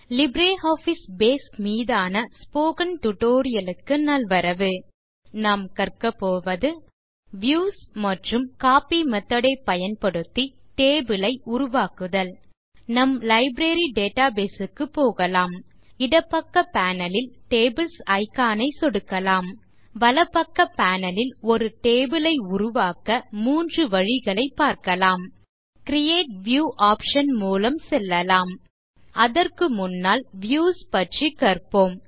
LibreOffice Base மீதான spoken tutorial க்கு நல்வரவு இந்த டியூட்டோரியல் ல் நாம் கற்க போவது a வியூஸ் மற்றும் b கோப்பி மெத்தோட் ஐ பயன்படுத்தி டேபிள் ஐ உருவாக்குதல் நம் லைப்ரரி டேட்டாபேஸ் க்கு போகலாம் இடப்பக்க பேனல் ல் டேபிள்ஸ் இக்கான் ஐ சொடுக்கலாம் வலப்பக்க பேனல் ல் ஒரு டேபிள் ஐ உருவாக்க மூன்று வழிகளைப் பார்க்கலாம் இப்போது கிரியேட் வியூ ஆப்ஷன் மூலம் செல்லலாம் அதற்கு முன்னால் வியூஸ் பற்றி கற்போம்